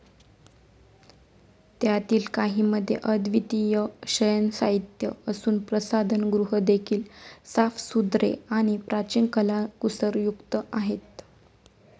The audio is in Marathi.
त्यातील काहींमध्ये अव्दितीय शयनसाहित्य असुन, प्रसाधनगृहदेखील साफसुथरे आणि प्राचिन कलाकुसर युक्त आहे.